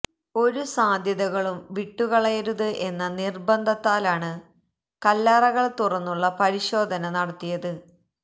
ഒരു സാധ്യതകളും വിട്ടുകളയരുത് എന്ന നിര്ബന്ധത്താലാണ് കല്ലറകള് തുറന്നുള്ള പരിശോധന നടത്തിയത്